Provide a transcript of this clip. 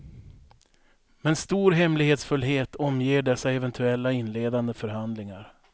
Men stor hemlighetsfullhet omger dessa eventuella inledande förhandlingar.